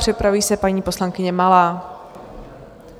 Připraví se paní poslankyně Malá.